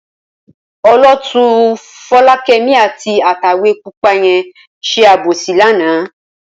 Olótùú Fọlákẹ́mi àti atẹ̀wé pupa yẹn ṣe àbòsí lánàá.